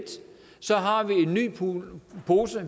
så